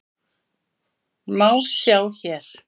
má sjá hér.